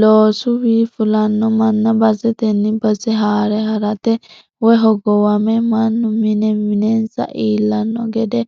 Loosuwi fulano manna baseteni base haare harate woyi hogowame mannu mine minensa iillano gede